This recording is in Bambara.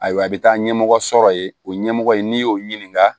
Ayiwa a bɛ taa ɲɛmɔgɔ sɔrɔ yen o ɲɛmɔgɔ in n'i y'o ɲininka